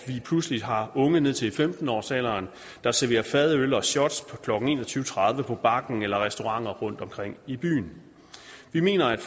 pludselig har unge ned til femten årsalderen der serverer fadøl og shots klokken en og tyve tredive på bakken eller på restauranter rundtomkring i byen vi mener at